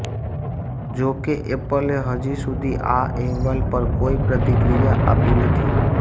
જોકે એપલે હજી સુધી આ અહેવાલ પર કોઈ પ્રતિક્રિયા આપી નથી